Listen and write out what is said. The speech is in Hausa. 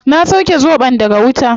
Na sauke zobon daga wuta